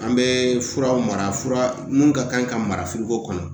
An bɛ furaw mara fura mun ka kan ka mara kɔnɔ